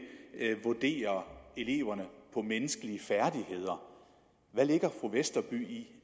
vurderer eleverne på menneskelige færdigheder hvad lægger fru westerby i